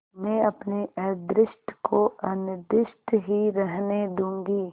मैं अपने अदृष्ट को अनिर्दिष्ट ही रहने दूँगी